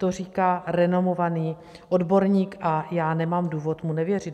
To říká renomovaný odborník a já nemám důvod mu nevěřit.